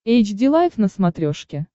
эйч ди лайф на смотрешке